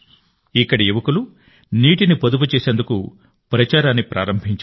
ఇక్కడి యువకులు నీటిని పొదుపు చేసేందుకు ప్రచారాన్ని ప్రారంభించారు